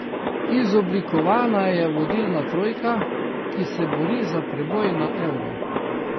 Izoblikovana je vodilna trojka, ki se bori za preboj na Euro.